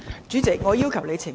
主席，我要求你澄清。